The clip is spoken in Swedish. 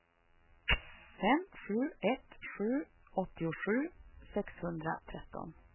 fem sju ett sju åttiosju sexhundratretton